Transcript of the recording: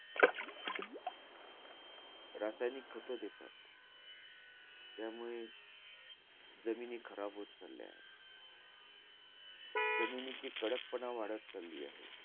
रासायनिक खातं देतात. त्यामुळे, जमिनी खराब होत चालल्याय. जमिनीची कडकपणा वाढत चालली आहे.